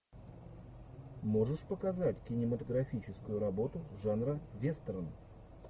можешь показать кинематографическую работу жанра вестерн